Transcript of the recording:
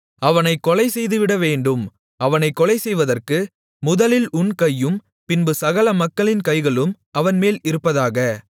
அவனைக் கொலை செய்துவிடவேண்டும் அவனைக் கொலைசெய்வதற்கு முதலில் உன் கையும் பின்பு சகல மக்களின் கைகளும் அவன்மேல் இருப்பதாக